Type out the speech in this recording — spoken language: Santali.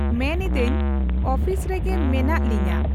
ᱢᱮᱱ ᱮᱫᱟᱹᱧ ᱚᱯᱷᱤᱚᱥ ᱨᱮᱜᱮ ᱢᱮᱱᱟᱜ ᱞᱤᱧᱟᱹ ᱾